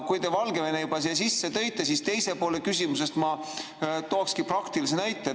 Kui te Valgevene juba siia sisse tõite, siis küsimuse teises pooles ma toongi praktilise näite.